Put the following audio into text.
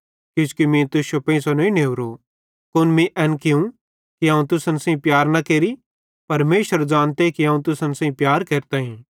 किजो मीं तुश्शो पेइंसो नईं नेवरो कुन मीं एन कियूं कि अवं तुसन सेइं प्यार न केरि परमेशर ज़ानते कि अवं तुसन सेइं प्यार केरताईं